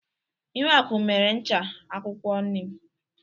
Ihuaku mere ncha akwụkwọ nịm.